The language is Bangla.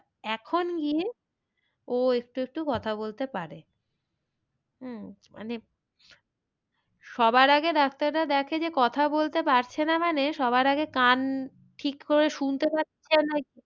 এখন গিয়ে ও একটু একটু কথা বলতে পারে। উম মানে সবার আগে ডাক্তাররা দেখে যে কথা বলতে পারছে না মানে সবার আগে কান ঠিক করে শুনতে পাচ্ছে